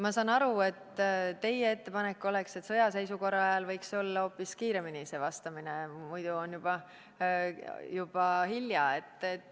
Ma saan aru, et teie ettepanek oleks, et sõjaseisukorra ajal võiks see vastamine toimuda hoopis kiiremini, muidu on juba hilja.